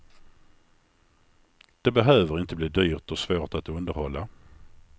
Det behöver inte bli dyrt och svårt att underhålla.